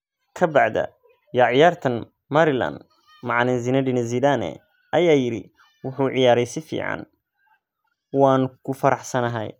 Ka baada ya ciyaarta Maryland, macallin Zinedine Zidane ayaa yiri: "Wuxuu ciyaaray si fiican, waan ku faraxsanahay."